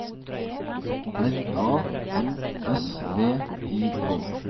R A M S V I K